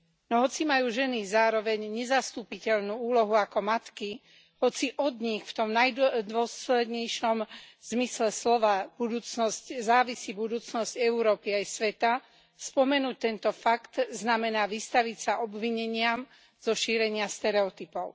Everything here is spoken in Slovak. No hoci majú ženy zároveň nezastupiteľnú úlohu ako matky, hoci od nich v tom najdôslednejšom zmysle slova závisí budúcnosť Európy aj sveta, spomenúť tento fakt znamená vystaviť sa obvineniam zo šírenia stereotypov.